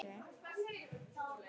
Þar brosir hver einasta snót.